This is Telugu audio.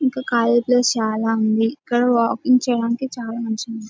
ఇంకా ఖాళీ ప్లేస్ చాలా ఉంది ఇక్కడ వాకింగ్ చేయడానికి చాలా మంచిగా ఉంది .